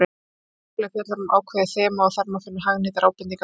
Hver kafli fjallar um ákveðið þema og þar má finna hagnýtar ábendingar og verkefni.